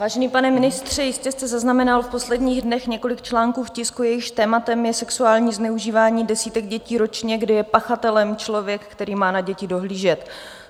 Vážený pane ministře, jistě jste zaznamenal v posledních dnech několik článků v tisku, jejichž tématem je sexuální zneužívání desítek dětí ročně, kdy je pachatelem člověk, který má na děti dohlížet.